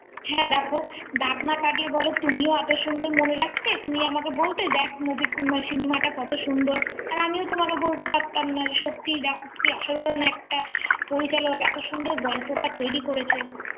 হ্যাঁ দেখ দাগ না কাটলে বল তুমিও এত সুন্দর মনে রাখতে তুমি আমাকে দেখ moviecinema দাও কত সুন্দর আর আমিও তোমাকে বলতে পারতাম না সত্যিই দেখো কি অসাধারণ একটা পরিচালক এত সুন্দর গল্পটা তৈরি করেছে